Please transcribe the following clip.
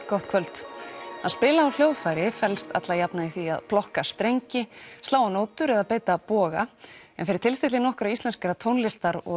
gott kvöld að spila á hljóðfæri felst alla jafna í því að plokka strengi slá á nótur eða beita boga en fyrir tilstilli nokkurra íslenskra tónlistar og